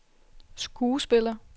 skuespiller